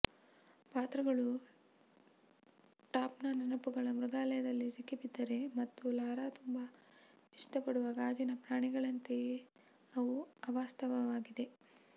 ಪಾತ್ರಗಳು ಟಾಮ್ನ ನೆನಪುಗಳ ಮೃಗಾಲಯದಲ್ಲಿ ಸಿಕ್ಕಿಬಿದ್ದಿದೆ ಮತ್ತು ಲಾರಾ ತುಂಬಾ ಇಷ್ಟಪಡುವ ಗಾಜಿನ ಪ್ರಾಣಿಗಳಂತೆಯೇ ಅವು ಅವಾಸ್ತವವಾಗಿವೆ